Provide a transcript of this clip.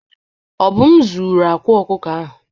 Obum zuru akwa ọkụkọ ahụ.